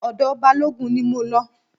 Ọ̀dọ̀ Balógun ni mo lọ.